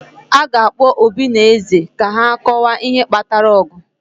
a ga-akpọ obi na eze ka ha kọwaa ihe kpatara ọgụ